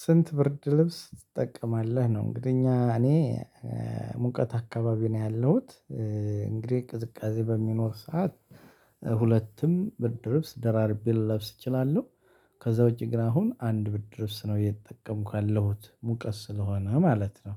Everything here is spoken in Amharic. ስንት ብርድ ልብስ ትጠቀማለህ? ነው እንግዲህ እኛ እኔ ሙቀት አካባቢ ነው ያለሁት እንግዲህ ቅዝቃዜ በሚኖር ሰዓት ሁለቱም ብርድ ልብስ ደራርቤን ልለብስ እችላለሁ። ከዛ ውጪ ግን አሁን አንድ ብርድልብስ ነው እየተጠቀምኩ ያለሁት ሙቀስ ስለሆነ ማለት ነው።